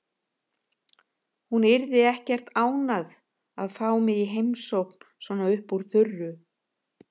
Hún yrði ekkert ánægð að fá mig í heimsókn svona upp úr þurru.